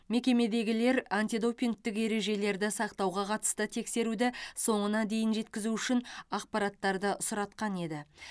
мекемедегілер антидопингтік ережелерді сақтауға қатысты тексеруді соңына дейін жеткізу үшін ақпараттарды сұратқан еді